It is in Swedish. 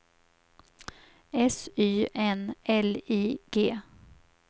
S Y N L I G